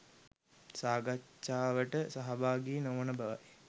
සාකච්ඡාවට සහභාගි නොවන බවයි